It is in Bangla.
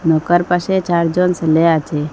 নৌকার পাশে চারজন সেলে আছে।